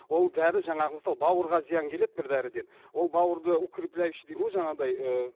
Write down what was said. ол дәрі жаңағы мысалы бауырға зиян келеді бір дәріден ол бауырды укрепляющий дейді ғой жаңағыдай ы